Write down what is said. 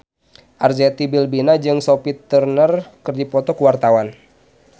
Arzetti Bilbina jeung Sophie Turner keur dipoto ku wartawan